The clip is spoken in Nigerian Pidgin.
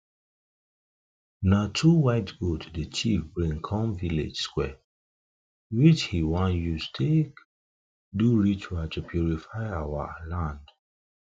na two white goats the chief bring come village square which he wan use take do ritual to purify our our land